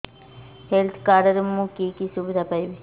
health card ରେ ମୁଁ କି କି ସୁବିଧା ପାଇବି